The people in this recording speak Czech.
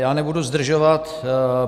Já nebudu zdržovat.